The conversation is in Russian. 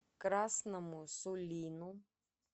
красному сулину